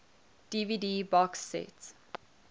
dvd box set